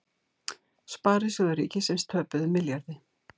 Sparisjóðir ríkisins töpuðu milljarði